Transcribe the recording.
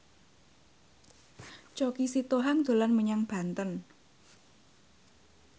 Choky Sitohang dolan menyang Banten